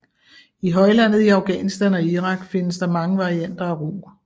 I højlandet i Afghanistan og Irak finnes der mange varianter af rug